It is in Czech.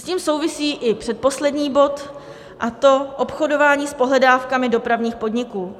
S tím souvisí i předposlední bod, a to obchodování s pohledávkami dopravních podniků.